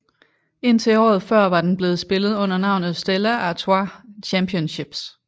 Indtil året før var den blevet spillet under navnet Stella Artois Championships